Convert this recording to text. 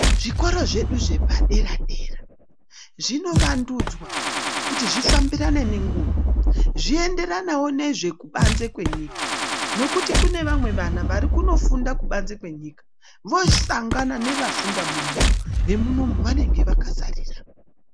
Zvikora zvedu zvepadera dera zvinovandudzwa kuti zvifambirane nenguva, zvienderanewo nekubanze kwenyika nekuti kune vamwe vana varikunofunde kubanze kwenyika visangana nevafunda munomu vemunomu vanenge vakasarira.